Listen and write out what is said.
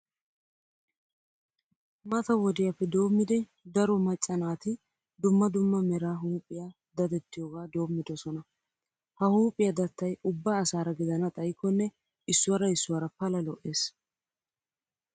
Mata wodiyappe doommidi daro macca naati dumma dumma mera huuphiya dadettiyogaa doommidosona. Ha huuphiya dattay ubba asaara gidana xayikkonne issuwara issuwara pala lo"ees.